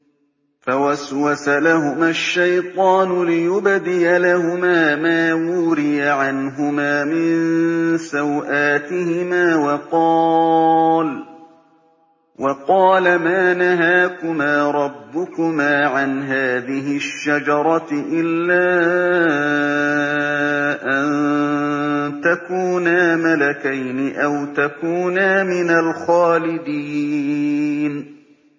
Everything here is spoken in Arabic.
فَوَسْوَسَ لَهُمَا الشَّيْطَانُ لِيُبْدِيَ لَهُمَا مَا وُورِيَ عَنْهُمَا مِن سَوْآتِهِمَا وَقَالَ مَا نَهَاكُمَا رَبُّكُمَا عَنْ هَٰذِهِ الشَّجَرَةِ إِلَّا أَن تَكُونَا مَلَكَيْنِ أَوْ تَكُونَا مِنَ الْخَالِدِينَ